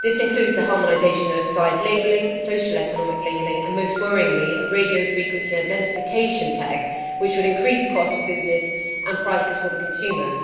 This includes the harmonisation of size labelling, social economic labelling and, most worryingly, a radio frequency identification tag which would increase costs for business and prices for the consumer.